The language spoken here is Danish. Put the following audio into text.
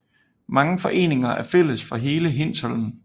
Mange foreninger er fælles for hele Hindsholm